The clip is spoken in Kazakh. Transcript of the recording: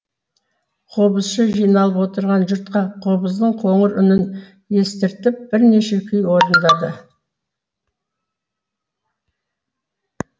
қобызшы жиналып отырған жұртқа қобыздың қоңыр үнін естіртіп бірнеше күй орындады